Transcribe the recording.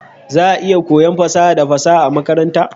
Za'a iya koyon fasaha da fasaha a makaranta.